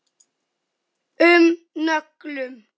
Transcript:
um nöglum.